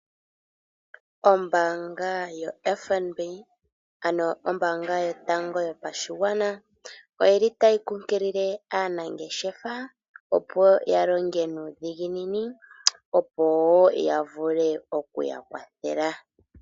Ombaanga yoFNB ano ombaanga yotango yopashigwana oyili tayi kunkilile aanangeshefa opo ya longe nuudhiginini, opo wo ya vule oku ya kwathela.